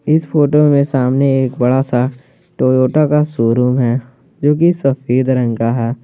इस फोटो में सामने एक बड़ा सा टोयोटा का शोरूम है जोकि सफेद रंग का है।